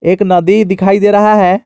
एक नदी दिखाई दे रहा है।